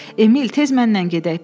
Emil, tez mənlə gedək,